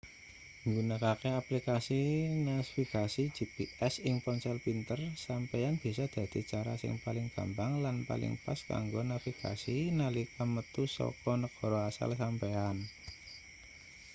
nggunakake aplikasi nasvigasi gps ing ponsel pinter sampeyan bisa dadi cara sing paling gampang lan paling pas kanggo navigasi nalika metu saka negara asal sampeyan